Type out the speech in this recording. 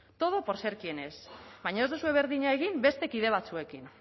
todo por ser quien es baina ez duzue berdina egin beste kide batzuekin